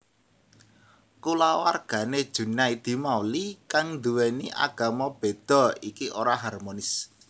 Kulawargane Junaedi Mauli kang nduweni agama bedha iki ora harmonis